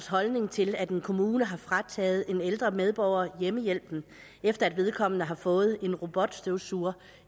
holdning til at en kommune har frataget en ældre medborger hjemmehjælpen efter at vedkommende har fået en robotstøvsuger